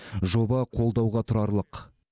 жоба қолдауға тұрарлық